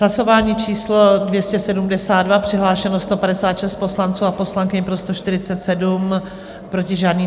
Hlasování číslo 272, přihlášeno 156 poslanců a poslankyň, pro 147, proti žádný.